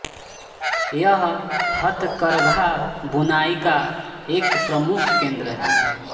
यह हथकरघा बुनाई का एक प्रमुख केन्द्र है